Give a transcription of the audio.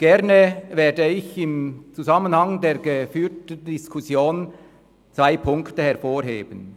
Gerne werde ich im Zusammenhang mit der geführten Diskussion zwei Punkte hervorheben.